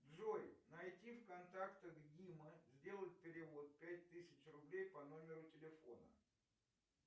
джой найти в контактах дима сделать перевод пять тысяч рублей по номеру телефона